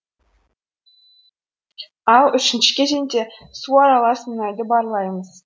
ал үшінші кезеңде су аралас мұнайды барлаймыз